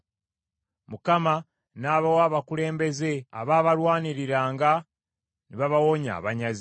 Mukama n’abawa abakulembeze abaabalwaniriranga ne babawonya abanyazi.